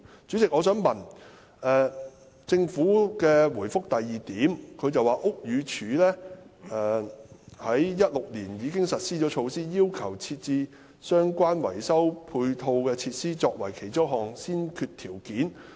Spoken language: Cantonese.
主席，政府在主體答覆第二部分指出，屋宇署在2016年年初已實施措施，要求設置相關維修的配套設施作為其中一項先決條件。